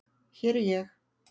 Hér er ég.